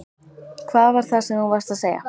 Hvað var það sem þú varst að segja?